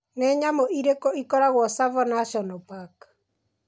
Nĩ nyamũ irĩkũ irĩ Tsavo National Park?